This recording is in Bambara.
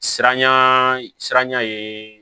Siranya sira ye